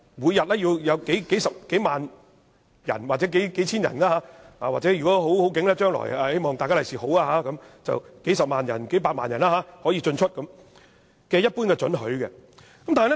每天會有數千人或數萬人，如果將來好運的話，甚至是數十萬人或數百萬人進出禁區，他們均要給予一般准許。